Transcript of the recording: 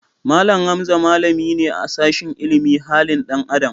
Mallam Hamza malami ne a sashin ilimin halin dan Adam.